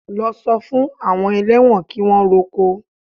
Lọ sọ fún àwọn ẹlẹ́wọ̀n kí wọ́n roko!